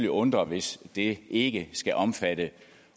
undre hvis det ikke skal omfatte